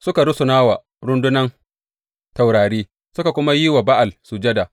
Suka rusuna wa rundunan taurari, suka kuma yi wa Ba’al sujada.